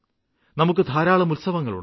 നമുക്ക് ധാരാളം ഉത്സവങ്ങളുണ്ട്